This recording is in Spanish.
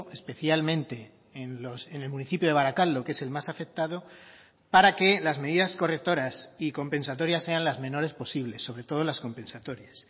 especialmente en el municipio de barakaldo que es el más afectado para que las medidas correctoras y compensatorias sean las menores posibles sobre todo las compensatorias